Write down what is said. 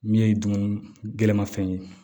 Min ye dun gɛlɛmafɛn ye